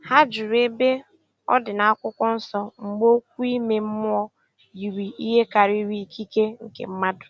Ha jụrụ ebe ọ dị n'akwụkwọ nsọ mgbe okwu ime mmụọ yiri ihe karịrị ikike nke mmadụ